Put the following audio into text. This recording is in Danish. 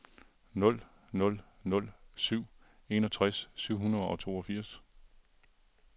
nul nul nul syv enogtres syv hundrede og toogfirs